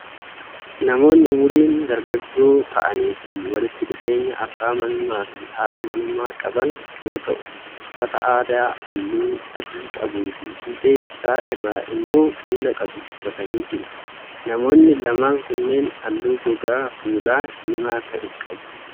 Namoonni umuriin dargaggoo ta'anii fi walitti dhufeenya abbaa manummaa fi haadha manummaa qaban yoo ta'u, uffata aadaa halluu adii qabuu fi fiixee isaa irraa immoo kuula qabu uffatanii jiru. Namoonni lamaan kunneen halluu gogaa fuulaa diimaa ta'e qabu.